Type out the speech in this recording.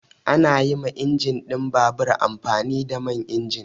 Ana yi ma injin ɗin babur amfani da man injin.